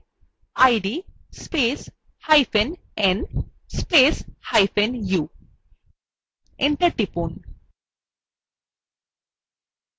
id spacehyphen n spacehyphen u enter টিপুন